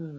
um